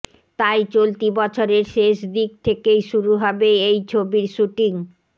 তাই চলতি বছরের শেষ দিক থেকেই শুরু হবে এই ছবির শ্যুটিং